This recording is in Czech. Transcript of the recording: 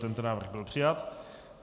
Tento návrh byl přijat.